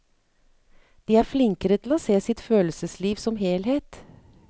De er flinkere til å se sitt følelsesliv som helhet.